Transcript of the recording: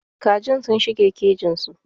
Kajin sun shige kejin su.